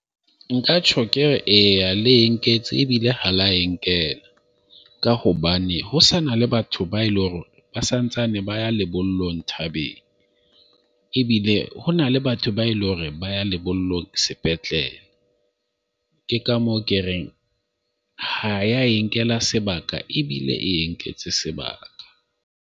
Nka tjho ke re eya le nketse ebile ha la e nkela ka hobane ho sana le batho ba eleng hore ba sa ntsane ba ya lebollong thabeng ebile ho na le batho ba eleng hore ba ya lebollong sepetleleng. Ke ka moo ke reng ha ya e nkela sebaka, ebile e nketse sebaka.